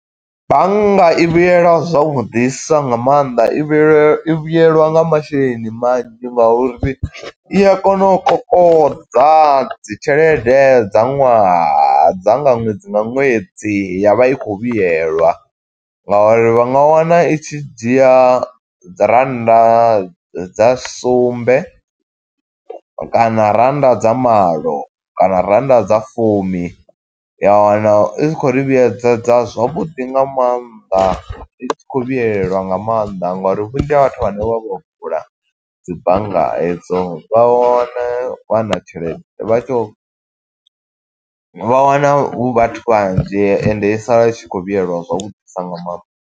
Bannga i vhuyelwa zwavhuḓisa nga maanḓa, i vhuye i vhuyelwa nga masheleni manzhi nga uri i a kona u kolodza dzi tshelede dza ṅwaha, dza nga ṅwedzi nga ṅwedzi. Ya vha i khou vhuyelwa nga uri vha nga wana i tshi dzhia dzi rannda dza sumbe, kana rannda dza malo, kana rannda dza fumi, Ya wana i khou ri vhuyedzedza zwavhuḓi nga maanḓa. I tshi khou vhuyelwa nga maanḓa ngo uri vhunzhi ha vhathu vhane vha vho vula dzi bannga hedzo, vha wana vha na tshelede. Vhathu vha wana hu vhathu vhanzhi, ende i sala i tshi khou vhuyelwa zwavhuḓisa nga maanḓa.